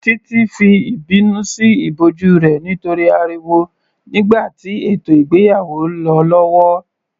Titi fi ìbínú sí ìbòjú rẹ̀ nítorí ariwo nígbà tí ètò ìgbéyàwó lọ lọ́wọ́